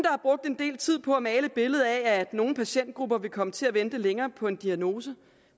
har brugt en del tid på at male et billede af at nogle patientgrupper vil komme til at vente længere på en diagnose